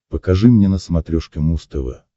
покажи мне на смотрешке муз тв